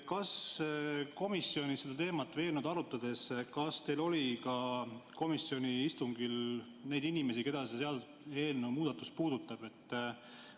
Kas komisjonis seda teemat arutades oli komisjoni istungil ka neid inimesi, keda see seaduseelnõu muudatus puudutab?